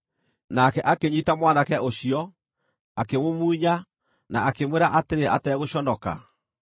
Nake akĩnyiita mwanake ũcio, akĩmũmumunya, na akĩmwĩra atĩrĩ ategũconoka,